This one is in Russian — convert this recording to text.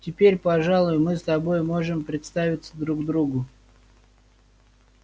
теперь пожалуй мы с тобой можем представиться друг другу